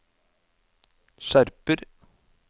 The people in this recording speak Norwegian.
skjerper